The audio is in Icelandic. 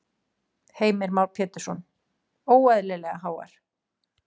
Heimir Már Pétursson:. óeðlilega háar?